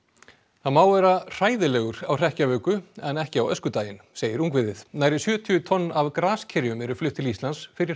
það má vera hræðilegur á hrekkjavöku en ekki á öskudaginn segir ungviðið nærri sjötíu tonn af graskerjum eru flutt til Íslands fyrir